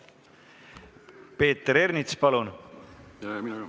Peeter Ernits, palun!